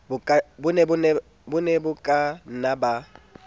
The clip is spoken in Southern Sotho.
bo ne bo kanna ba